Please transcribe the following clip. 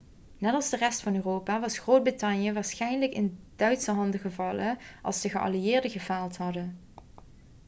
net als de rest van europa was groot-brittannië waarschijnlijk in duitse handen gevallen als de geallieerden gefaald hadden